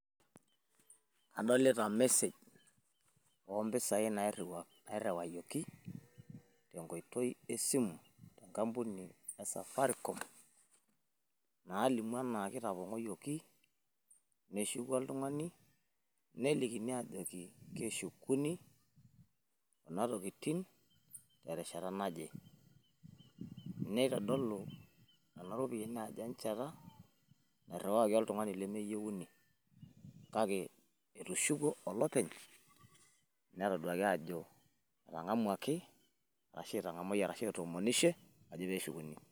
Adolita message oo mpisai nairriwayioki te nkoitoi e simu, enkampuni e safaricom naalimu enaa kitapong`oyioki. Neshuku oltung`ani nelikini aajoki keshukuni kuna tokitin te rishata naje. Neitodolu nena ropiyiani ajo enchata nairriwakaki oltung`ani lemeyieuni, kake etushukuo olopeny. Netoduaki aajo etang`amuaki arashu etang`amayie arashu etoomonishie ajo pee eshukuni.